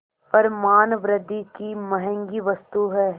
पर मानवृद्वि की महँगी वस्तु है